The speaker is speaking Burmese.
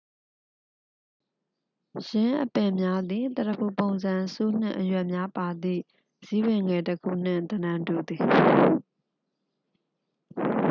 ယင်းအပင်များသည် သရဖူပုံစံ ဆူးနှင့် အရွက် များပါသည့် ဇီးပင်ငယ်တစ်ခုနှင့် သဏ္ဍန်တူသည်